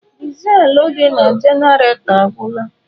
Dizelụ dị na jenaretọ agwụla.